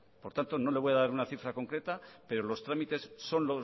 por tanto no le voy a dar una cifra concreta pero los trámites son